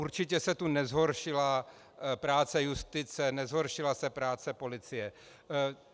Určitě se tu nezhoršila práce justice, nezhoršila se práce policie.